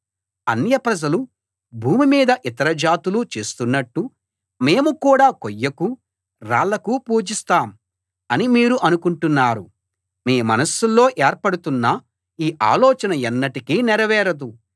అన్యప్రజలు భూమి మీద ఇతర జాతులూ చేస్తున్నట్టు మేము కూడా కొయ్యకూ రాళ్లకూ పూజిస్తాం అని మీరు అనుకుంటున్నారు మీ మనస్సులో ఏర్పడుతున్న ఈ ఆలోచన ఎన్నటికీ నెరవేరదు